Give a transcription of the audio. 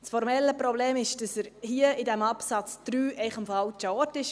Das formelle Problem ist, dass er hier, in Absatz 3, einfach am falschen Ort ist.